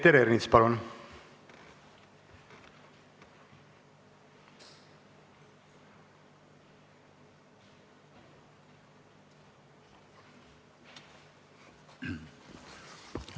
Peeter Ernits, palun!